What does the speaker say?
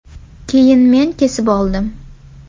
Keyin men kesib oldim.